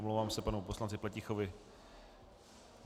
Omlouvám se panu poslanci Pletichovi.